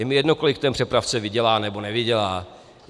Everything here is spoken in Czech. Je mi jedno, kolik ten přepravce vydělá, nebo nevydělá.